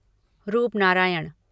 Rupnarayan